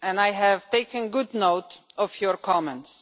I have taken good note of your comments.